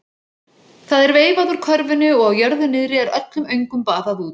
Það er veifað úr körfunni og á jörðu niðri er öllum öngum baðað út.